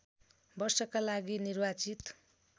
वर्षका लागि निर्वाचित